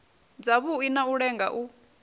dzavhui na u lenga u